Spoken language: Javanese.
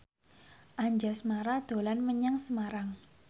Anjasmara dolan menyang Semarang